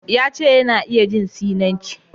Ya ce, yana iya jin Sinanci